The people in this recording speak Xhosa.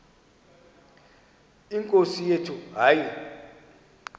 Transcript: nkosi yethu hayi